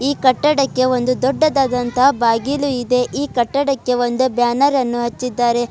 ಈ ಕಟ್ಟಡಕ್ಕೆ ಒಂದು ದೊಡ್ಡದಾದಂತಹ ಬಾಗಿಲು ಇದೆ ಈ ಕಟ್ಟಡಕ್ಕೆ ಒಂದು ಬ್ಯಾನರ್ ಅನ್ನು ಹಚ್ಚಿದ್ದಾರೆ.